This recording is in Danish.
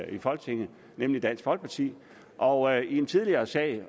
i folketinget nemlig dansk folkeparti og i en tidligere sag